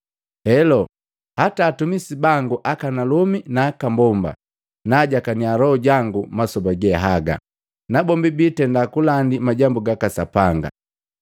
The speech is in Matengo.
Heloo, hata atumisi bangu akanalomi naaka mbomba, naajakaniya Loho jangu masoba gehaga, nabombi biitenda kulandi majambu gaka Sapanga.